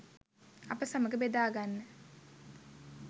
අප සමග බෙදාගන්න